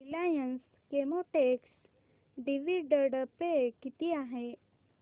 Reliance Chemotex dividend pay किती आहे